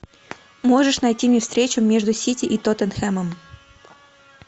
можешь найти мне встречу между сити и тоттенхэмом